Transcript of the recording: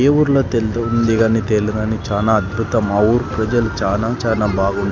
ఏ ఊరిలో తెల్దు ఉంది గాని తేలు గాని చాలా అద్భుత మా ఊరి ప్రజలు చానా చానా బాగుం --